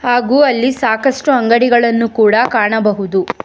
ಹಾಗು ಅಲ್ಲಿ ಸಾಕಷ್ಟು ಅಂಗಡಿಗಳನ್ನು ಕೂಡ ಕಾಣಬಹುದು.